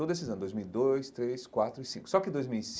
Todos esses anos, dois mil e dois, três, quatro e cinco só que dois mil e